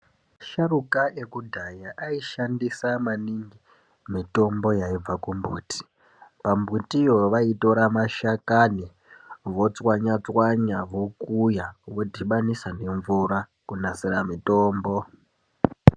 Asharuka ekudhaya aishandisa maningi mitombo yaibva kumbuti. Pambutiyo vaitora mashakani votswanya tswanya vokuya vodhibhanisa nemvura kunasira mutombo.